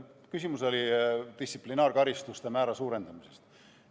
Küsimus oli distsiplinaarkaristuste määra suurendamisest.